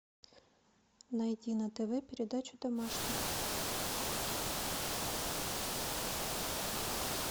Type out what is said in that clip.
найди на тв передачу домашний